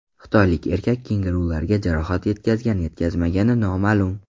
Xitoylik erkak kengurularga jarohat yetkazgan-yetkazmagani noma’lum.